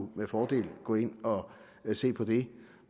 med fordel kunne gå ind og se på det